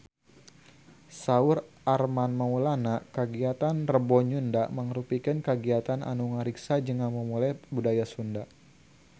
Saur Armand Maulana kagiatan Rebo Nyunda mangrupikeun kagiatan anu ngariksa jeung ngamumule budaya Sunda